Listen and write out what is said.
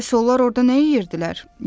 Bəs onlar orda nə yeyirdilər?